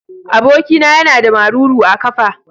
Abokina yana da maruru a kafa.